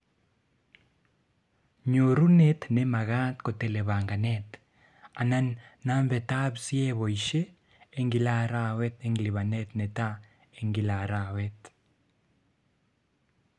Nyorunet nemagat kotele banganet, anan nambetab c heboishe eng kila arawet eng lipanet netaa eng kila arawet